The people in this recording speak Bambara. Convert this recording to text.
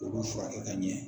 k'olu furakɛ ka ɲɛ.